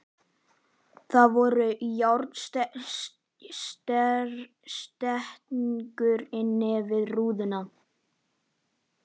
Það voru járnstengur innan við rúðuna.